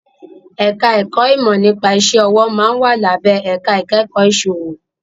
Ẹ̀ka ẹ̀kọ́ ìmọ̀ nípa iṣẹ́ ọwọ́ máa ń wà lábẹ́ ẹ̀ka ìkẹ́kọ̀ọ́ ìsòwò